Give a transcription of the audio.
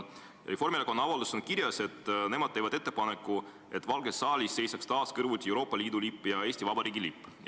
Selles avalduses on kirjas, et nemad teevad ettepaneku, et Valges saalis seisaks taas kõrvuti Euroopa Liidu lipp ja Eesti Vabariigi lipp.